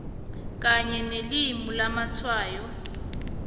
kanye nelimi lamatshwayo